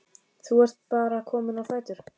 Þú ert bara kominn á fætur?